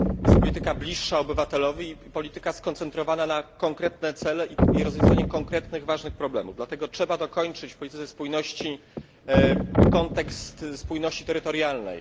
Jest to polityka bliższa obywatelowi, skoncentrowana na konkretnych celach i rozwiązaniu konkretnych ważnych problemów. Dlatego trzeba dokończyć w polityce spójności kontekst spójności terytorialnej.